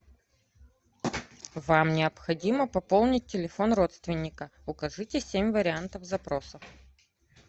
вам необходимо пополнить телефон родственника укажите семь вариантов запросов